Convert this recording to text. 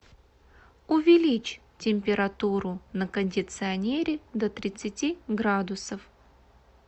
увеличь температуру на кондиционере до тридцати градусов